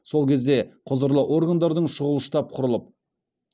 сол кезде құзырлы органдардың шұғыл штаб құрылып